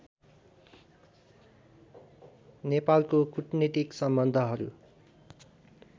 नेपालको कूटनीतिक सम्बन्धहरू